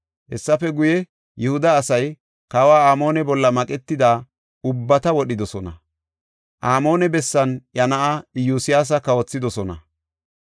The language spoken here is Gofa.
Hessafe guye, Yihuda asay Kawa Amoone bolla maqetida ubbata wodhidosona. Amoone bessan iya na7aa Iyosyaasa kawothidosona.